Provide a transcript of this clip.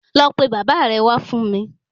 Lọ pe Baba re wá fún mi